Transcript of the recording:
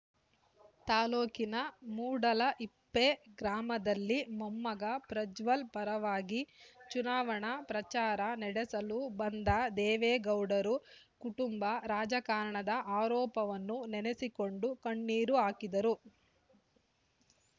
ತಾಲ್ಲೂಕಿನ ಮೂಡಲಹಿಪ್ಪೆ ಗ್ರಾಮದಲ್ಲಿ ಮೊಮ್ಮಗ ಪ್ರಜ್ವಲ್ ಪರವಾಗಿ ಚುನಾವಣಾ ಪ್ರಚಾರ ನಡೆಸಲು ಬಂದ ದೇವೇಗೌಡರು ಕುಟುಂಬ ರಾಜಕಾರಣದ ಆರೋಪವನ್ನು ನೆನೆಸಿಕೊಂಡು ಕಣ್ಣೀರು ಹಾಕಿದರು